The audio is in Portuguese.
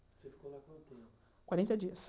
Você ficou lá quanto tempo? Quarenta dias